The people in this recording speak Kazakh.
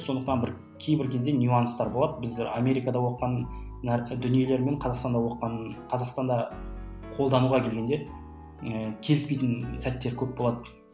сондықтан бір кейбір кезде нюанстар болады біздер америкада оқыған дүниелер мен қазақстанда оқыған қазақстанда қолдануға келгенде ы келіспейтін сәттер көп болады